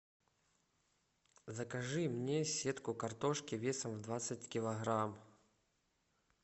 закажи мне сетку картошки весом в двадцать килограмм